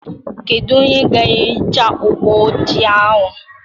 Kedu onye ga-ehicha ụgbọ ojii ahụ?